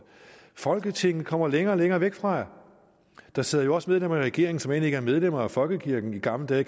folketinget kommer længere og længere væk fra jer der sidder jo også medlemmer af regeringen som ikke er medlemmer af folkekirken i gamle dage